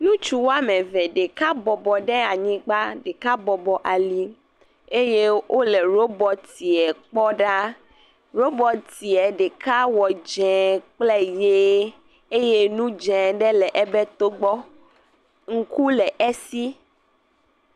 Ŋutsu wɔme eve. Ɖeka bɔbɔ ɖe anyigba, ɖeka bɔbɔ ali eye wo le ɖobɔtia kpɔ ɖaa. Ɖobɔtia ɖeka wɔ dzie kple ʋie eye nu dze aɖe le ebe to gbɔ. Ŋku le esi.